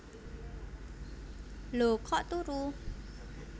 Lho kok turu